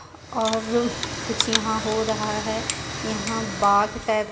ओर कुछ यहाँ हो रहा हे यहाँ बाग़ टेप --